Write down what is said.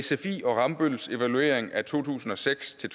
sfi og rambølls evaluering af to tusind og seks til